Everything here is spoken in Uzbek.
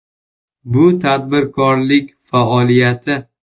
Bu tadbirkorlik faoliyati.